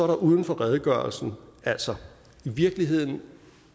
det uden for redegørelsen altså i virkeligheden